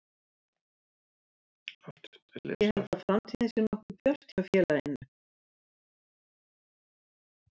Ég held að framtíðin sé nokkuð björt hjá félaginu.